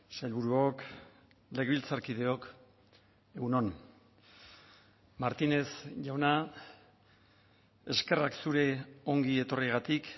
sailburuok legebiltzarkideok egun on martínez jauna eskerrak zure ongi etorriagatik